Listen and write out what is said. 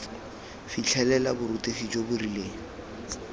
fitlhelela borutegi jo bo rileng